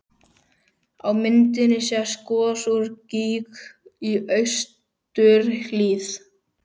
Á myndinni sést gos úr gíg í austurhlíð